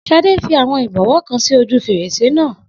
Shade fi àwọn ìbọwọ́ kan sí ojú fèrèsé náà